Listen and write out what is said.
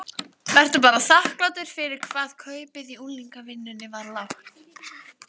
Vertu bara þakklátur fyrir hvað kaupið í unglingavinnunni var lágt.